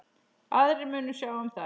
Aðrir munu sjá um það.